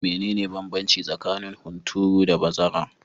Mene ne banbanci tsakanin hunturu da bazara?